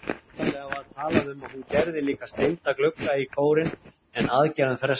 Upphaflega var talað um að hún gerði líka steinda glugga í kórinn en aðgerðum frestað.